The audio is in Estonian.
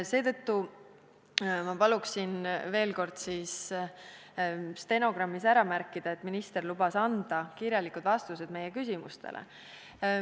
Seetõttu palun veel kord stenogrammis ära märkida, et minister lubas anda meie küsimustele kirjalikud vastused.